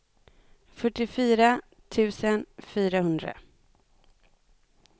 fyrtiofyra tusen fyrahundra